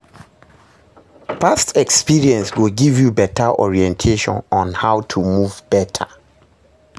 past experience go giv yu beta orientation on how to move beta